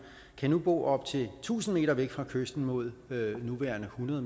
kan nu bo op til tusind m væk fra kysten mod nuværende hundrede